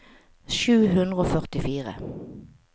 sju hundre og førtifire